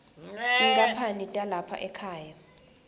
tinkhapani talapha ekhaya